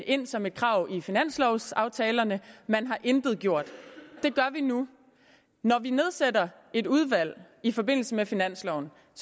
ind som et krav i finanslovaftalerne man har intet gjort det gør vi nu når vi nedsætter et udvalg i forbindelse med finansloven